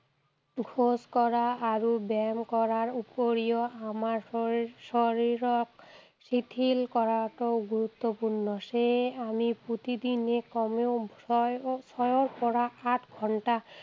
খোজ কঢ়া আৰু ব্যায়াম কৰাৰ উপৰিও আমাৰ শৰীৰক শিথিল কৰাটো গুৰুত্বপূৰ্ণ। সেয়ে আমি প্ৰতিদিনে কমেও ছয়ৰ পৰা আঠ ঘণ্টা